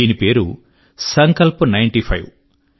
దీని పేరు Sankalp ninety five